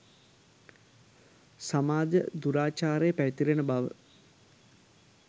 සමාජ දුරාචාරය පැතිරෙන බව.